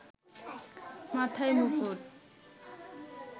মাথায় মুকুট